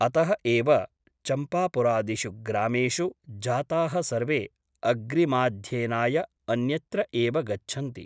अतः एव चम्पापुरादिषु ग्रामेषु जाताः सर्वे अग्रिमाध्ययनाय अन्यत्र एव गच्छन्ति ।